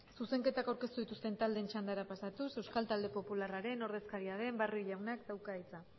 zuzenketa aurkeztu dituzten taldeen txandara pasatuz euskal talde popularraren ordezkaria den barrio jaunak dauka hitza